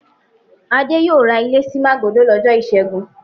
Adé yóò ra ilé sí Màgódò lọ́jọ́ ìṣẹ́gun.